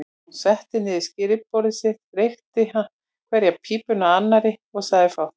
Hann settist við skrifborð sitt, reykti hverja pípuna af annarri og sagði fátt.